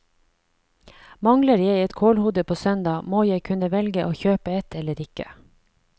Mangler jeg et kålhode på søndag, må jeg kunne velge å kjøpe et eller ikke.